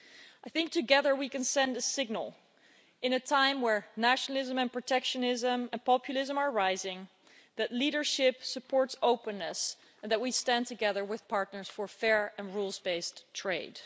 I think together we can send a signal at a time when nationalism and protectionism and populism are rising that leadership supports openness and that we stand together with partners for fair and rules based trade.